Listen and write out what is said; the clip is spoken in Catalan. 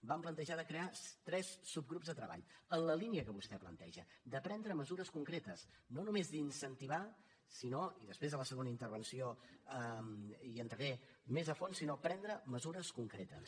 vam plantejar de crear tres subgrups de treball en la línia que vostè planteja de prendre mesures concretes no només d’incentivar sinó i després a la segona intervenció hi entraré més a fons prendre mesures concretes